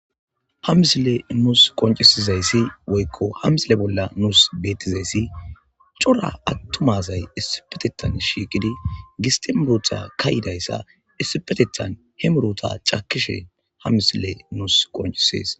ha misile nuus qoncisizayssi woyko hamisile bolla nuus bettizayssi cora attumazay issipetetan shiiqidi gistembrtha kayidayssa issipetetan he muruta cakkishe ha misile nuus qoncisees